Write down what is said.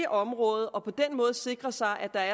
området og på den måde sikre sig at der